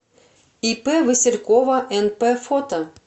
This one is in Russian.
ип василькова нп фото